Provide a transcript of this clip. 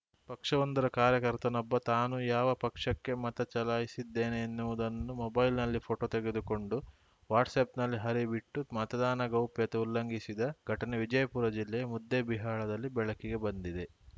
ಪಕ್ಷವೊಂದರ ಕಾರ್ಯಕರ್ತನೊಬ್ಬ ತಾನು ಯಾವ ಪಕ್ಷಕ್ಕೆ ಮತ ಚಲಾಯಿಸಿದ್ದೇನೆ ಎನ್ನುವುದನ್ನು ಮೊಬೈಲ್‌ನಲ್ಲಿ ಫೋಟೊ ತೆಗೆದುಕೊಂಡು ವಾಟ್ಸಪ್‌ನಲ್ಲಿ ಹರಿಬಿಟ್ಟು ಮತದಾನ ಗೌಪ್ಯತೆ ಉಲ್ಲಂಘಿಸಿದ ಘಟನೆ ವಿಜಯಪುರ ಜಿಲ್ಲೆಯ ಮುದ್ದೇಬಿಹಾಳದಲ್ಲಿ ಬೆಳಕಿಗೆ ಬಂದಿದೆ